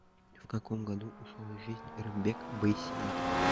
в каком году ушел из жизни рымбек байсеитов